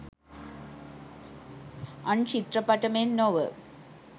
අන් චිත්‍රපට මෙන් නොව